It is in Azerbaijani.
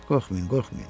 Qorxmayın, qorxmayın.